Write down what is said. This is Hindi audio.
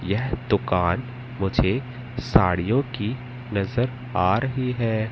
यह दुकान मुझे साड़ियों की नजर आ रही है।